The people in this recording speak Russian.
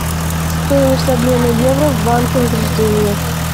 стоимость обмена евро в банке возрождение